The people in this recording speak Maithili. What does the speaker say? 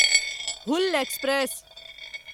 हूल एक्सप्रेस